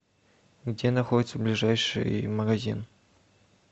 где находится ближайший магазин